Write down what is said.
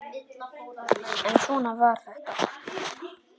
En svona var þetta.